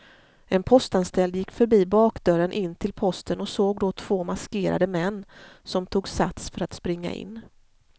En postanställd gick förbi bakdörren in till posten och såg då två maskerade män som tog sats för att springa in.